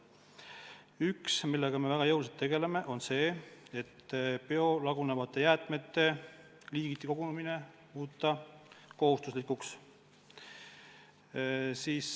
Üks, millega me väga jõuliselt tegeleme, on see, et biolagunevate jäätmete eraldi kogumine muuta kohustuslikuks.